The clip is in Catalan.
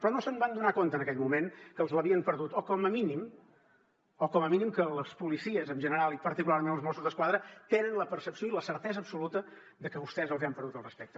però no se’n van adonar en aquell moment que els l’havien perdut o com a mínim que les policies en general i particularment els mossos d’esquadra tenen la percepció i la certesa absoluta de que vostès els hi han perdut el respecte